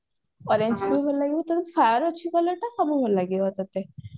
orange ବି ଭଲ ଲାଗିବ ତତେ fair ଅଛି colour ତ ସବୁ ଭଲ ଲାଗିବ ତତେ